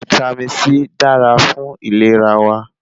Vítámì C dára fún ìlera wa